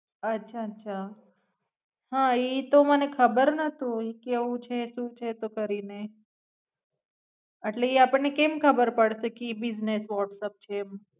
અચ્છા હાં એ ખબર નતું ઈ કેવું છે સુ છે તો કરીને એટલે ઈ આપણને કેમ ખબર પડસે કી વોટ્સપ છે એમ.